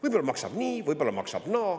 Võib-olla maksab nii, maksab naa.